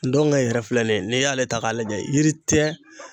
Ndonkɛ yɛrɛ filɛ nin ye n'i y'ale ta k'a lajɛ yiri tɛ